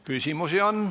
Küsimusi on.